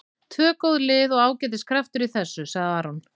Tvö góð lið og ágætis kraftur í þessu, sagði Aron.